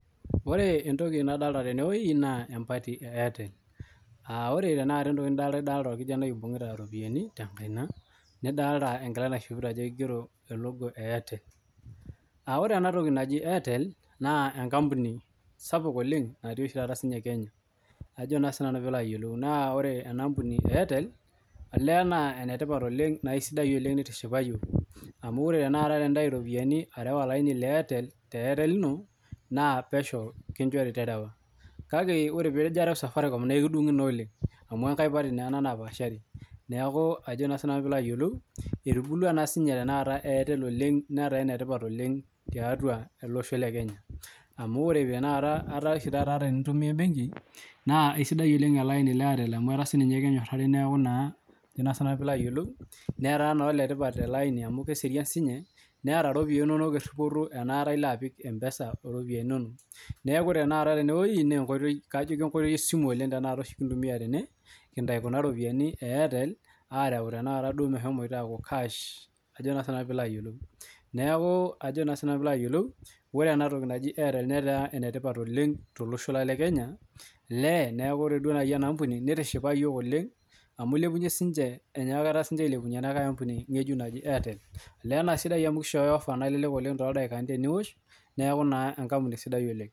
Ore entoki nadolita tene naa empati ee Airtel ore entoki nidolita sahi naa orkijanai oibungita eropiani tee nkaina nidolita enkila naishopito Ajo kigero elogo ee Airtel aa ore ena toki naajia Airtel naa enkampuni sapuk oleng natii oshi taata sininye Kenya naa ore ena ambuni ee Airtel olee naa enetipat oleng nitishipa iyiok amu ore tanakata ore Entau eropiani arew eropiani Airtel too laini lino naa pesho kinjorii terewa kaake ore peejo arew safaricom naa ekidungui oleng amu enkae paati naa enaa napashari neeku Ajo sinanu piloo ayiolou etubulua tanakata sininye Airtel oleng netaa enetipat tiatua ele Osho le Kenya amu etaa ore enitumie benkii naa esidai oleng ele aini lee Airtel amu etaa sininye kenyorari neeku Ajo Sinanu netaa oletipat ele aini neserian sininye netaa ropiani inono teripoto enakata elo apik mpesa eropiani enono neeku ore tanakata tene naa enkoitoi esimu ekintumia kintau kuna ropiani ee Airtel areu duo tanakata mehomo aaku karasha neeku ore ena toki naaji Airtel netaa enetipat oleng tolosho lang lee Kenya neeku ore ena ambuni nitishipa[iyiok oleng amu elepunye sininche ena ambuni naaji Airtel naa sidai amu kishoyo offer nalelek oleng too ildakani teniosh neeku enkampuni sidai oleng